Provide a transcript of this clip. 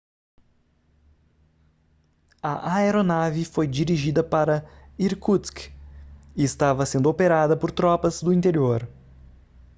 a aeronave foi dirigida para irkutsk e estava sendo operada por tropas do interior